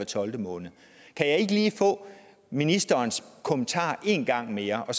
tolvte måned kan jeg ikke lige få ministerens kommentar en gang mere og